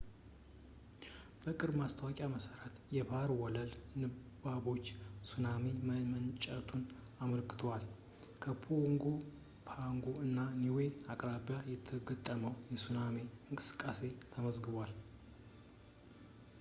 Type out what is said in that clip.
በቅርቡ ማስታወቂያ መሰረት የባህር ወለል ንባቦች ሱናሚ መመንጨቱን አመልክተዋል ከፓጎ ፓጎ እና ኒዌ አቅራቢያ የተረጋገጠ የሱናሚ እንቅስቃሴ ተመዝግቧል